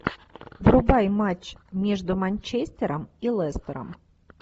врубай матч между манчестером и лестером